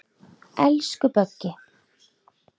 Elsku Böggi.